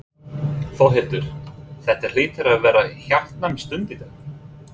Þórhildur, þetta hlýtur að hafa verið hjartnæm stund í dag?